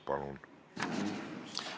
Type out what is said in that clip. Palun!